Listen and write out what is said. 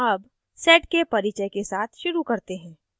अब sed के परिचय के साथ शुरू करते हैं